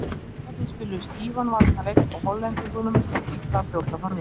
Svíarnir spiluðu stífan varnarleik og Hollendingum gekk illa að brjóta þá aftur.